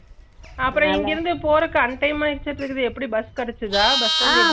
அப்பரோ இங்க இருந்து போறதுக்கு un time ஆய்ச்சியருக்கு எப்புடி பஸ் கெடச்சுதா பஸ் stand ல